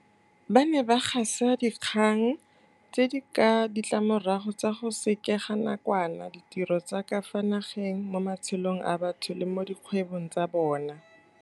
Ba ne ba gasa dinkgang tse di ka ga ditlamorago tsa go sekega nakwana ditiro tsa ka fa nageng mo matshelong a batho le mo dikgwebong tsa bona.